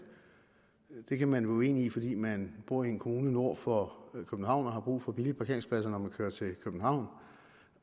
den kan man være uenig i fordi man bor i en kommune nord for københavn og har brug for billige parkeringspladser når man kører til københavn